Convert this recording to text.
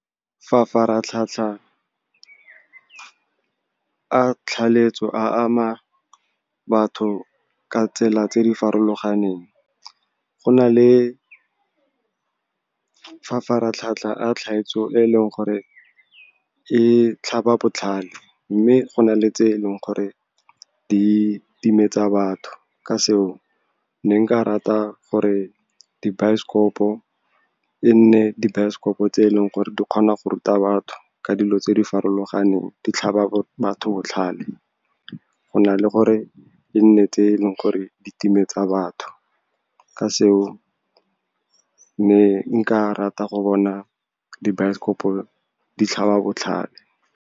Mafaratlhatlha a a ama batho ka tsela tse di farologaneng. Go na le e leng gore e tlhaba botlhale, mme go na le tse e leng gore di timetsa batho. Ka seo, ne nka rata gore dibaesekopo e nne dibaesekopo tse e leng gore di kgona go ruta batho ka dilo tse di farologaneng, di tlhaba batho botlhale go na le gore e nne tse e leng gore di timetsa batho. Ka seo, ne nka rata go bona dibaesekopo di tlhaba botlhale.